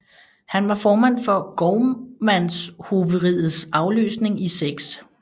Han var formand for gårdmandshoveriets afløsning i 6